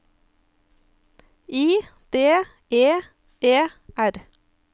I D E E R